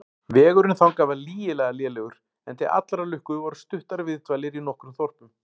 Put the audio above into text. Vegurinn þangað var lygilega lélegur, en til allrar lukku voru stuttar viðdvalir í nokkrum þorpum.